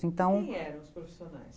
Então, quem eram os profissionais?